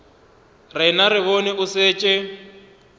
rena re bone o šetše